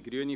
Generell